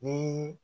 Ni